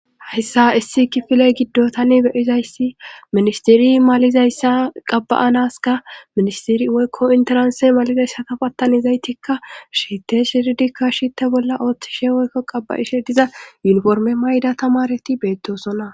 Hayssa issi kifile giddo tani beyizayssi ministiri malizayssa qabba7anaska ministiri woykko interanse malizayssa kafatanizaytikka shite shiridikka shitte bolla ooththishe woykko qabba7ishe diza yunforme mayda tamareti beettosonna